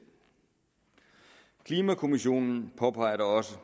klimakommissionen påpeger da også